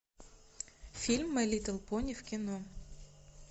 фильм май литл пони в кино